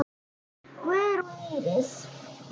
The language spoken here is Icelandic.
Guðrún Íris.